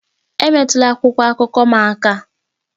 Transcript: Emetụla akwụkwọ akụkọ m aka!